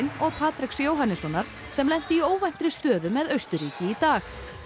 og Patreks Jóhannessonar sem lenti í óvæntri stöðu með Austurríki í dag